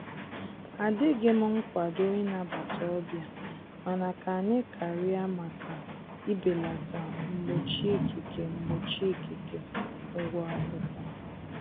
Adịghịm nkwado ị nabata ọbịa mana ka anyị karịa maka ibelata mgbochi ikike mgbochi ikike ụgwọ akwụkwọ